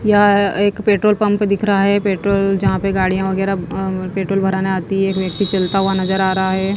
या एक petrol pump दिख रहा है पेट्रोल जहां पर गाड़ियां वगैरह पेट्रोल भराने आती है एक व्यक्ति चलता हुआ नजर आ रहा है।